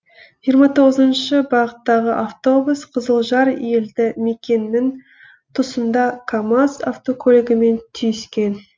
жиырма тоғызыншы бағыттағы автобус қызылжар елді мекенінің тұсында камаз автокөлігімен түйіскен